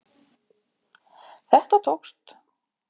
Þetta tókst.